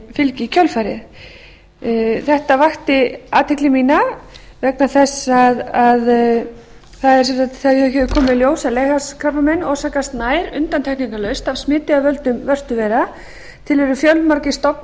fylgi í kjölfarið þetta vakti athygli mína mína þess að það hefur komið í ljós að leghálskrabbamein orsakast nær undantekingarlaust af smiti af völdum vörtuveira til eru fjölmargir